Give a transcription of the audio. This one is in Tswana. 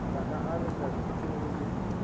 tla akaretsa thuto e le